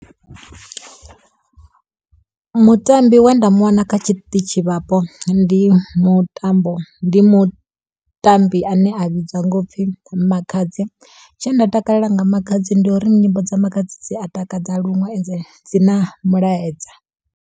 Mutambi we nda mu wana kha tshiṱitshi vhapo, ndi mutambo ndi mutambi ane a vhidzwa nga u pfi Makhadzi. Tshe nda takalela nga Makhadzi, ndi uri nyimbo dza Makhadzi dzi a takadza luṅwe ende dzi na mulaedza.